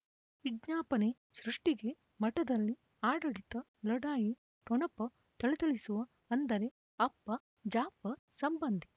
ವಿಜ್ಞಾಪನೆ ಸೃಷ್ಟಿಗೆ ಮಠದಲ್ಲಿ ಆಡಳಿತ ಲಢಾಯಿ ಠೊಣಪ ಥಳಥಳಿಸುವ ಅಂದರೆ ಅಪ್ಪ ಜಾಫರ್ ಸಂಬಂಧಿ